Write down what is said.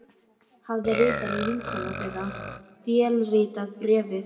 Hafði ritarinn, vinkona þeirra, vélritað bréfið?